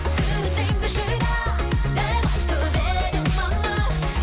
сүріндің бе шыда деп айтып еді мама